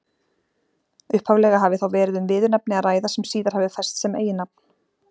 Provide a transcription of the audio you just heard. Upphaflega hafi þá verið um viðurnefni að ræða sem síðar hafi fest sem eiginnafn.